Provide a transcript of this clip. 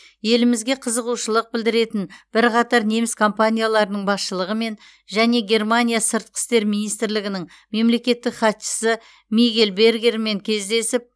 елімізге қызығушылық білдіретін бірқатар неміс компанияларының басшылығымен және германия сыртқы істер министрлігінің мемлекеттік хатшысы мигель бергермен кездесіп